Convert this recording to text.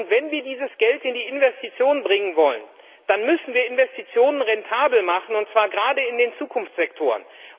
Und wenn wir dieses Geld in die Investition bringen wollen, dann müssen wir Investitionen rentabel machen, und zwar gerade in den Zukunftssektoren.